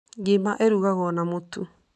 Ngima ĩrugagwo na mũtu.